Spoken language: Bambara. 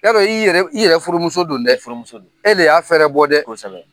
Yarɔ i yɛrɛ i yɛrɛ furumuso do dɛ i furumuso do e de y'a fɛɛrɛ bɔ dɛ kosɛbɛ